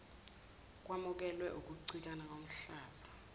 kwamukelwe ukucikana komhlaza